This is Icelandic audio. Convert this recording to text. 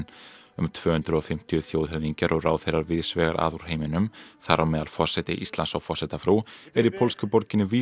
um tvö hundruð og fimmtíu þjóðhöfðingjar og ráðherrar víðs vegar að úr heiminum þar á meðal forseti Íslands og forsetafrú eru í pólsku borginni